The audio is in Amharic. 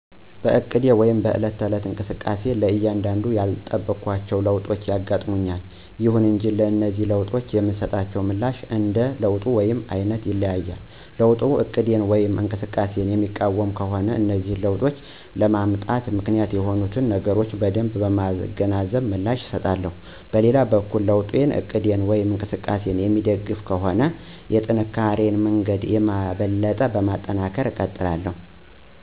በእቅዶቼ ወይም በዕለት ተዕለት እንቅስቃሴ ላይ አንዳንድ ያልጠበኳቸው ለውጦች ይገጥሙኛል። ይሁን እንጂ ለነዚህ ለውጦች የምሰጠው ምላሽ እንደ ለውጡ አይነት ይለያያል። ለውጡ እቅዴን ወይም እንቅስቃሴየን የሚቃወም ከሆነ እነዚህ ለውጦች ለመምጣት ምክንያት የሆኑትን ነገሮች በደንብ በማገናዘብ ምላሽ እሰጣለሁ። በሌላ በኩል ለውጡ እቅዴን ወይም እንቅስቃሴየን የሚደግፍ ከሆነ የጥንካሪየን መንገድ የበለጠ በማጠናከር እቀጥላለሁ።